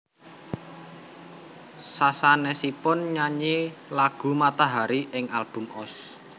Sasanesipun nyanyi lagu Matahari ing album Ost